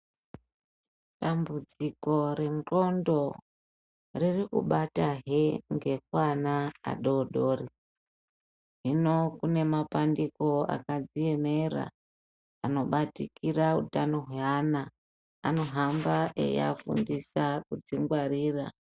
Dambudziko renxondo riri kubata hee nekuana adodori hino kune mapandiko akadziemera anobatikira hutano hweana anogamba eiafundisa kudzingwarira.